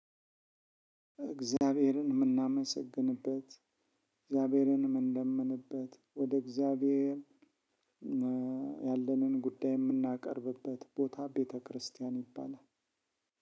እግዚአብሔርን ምናመሰግንበት እግዚአብሔርን ምንለምንበት ወደ እግዚአብሔር ያለንን ጉዳይ ምናቀርብበት ቦታ ቤተክርስቲያን ይባላል።